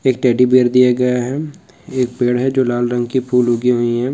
एक teddy bear दिया गया है एक पेड़ है जो लाल रंग के फूल उगे हुए हैं।